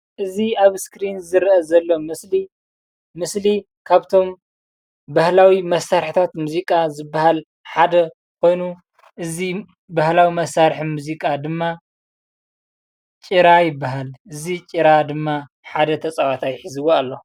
እዚ ኣብ እስክሪን ዝረአ ዘሎ ምስሊ ምስሊ ካብቶም ባህላዊ መሳርሕታት ሙዚቃ ዝባሃል ሓደ ኾይኑ እዚ ባህላዊ መሳርሒ ሙዚቃ ድማ ጭራ ይባሃል። እዚ ጭራ ድማ ሓደ ተፃዋታይ ሒዝዎ ኣሎ፡፡